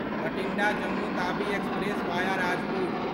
Bathinda Jammu Tawi express via Rajpur